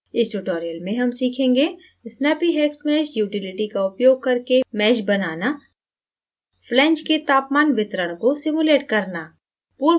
इस tutorial में हम सीखेंगे